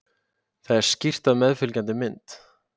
Þetta er skýrt á meðfylgjandi mynd.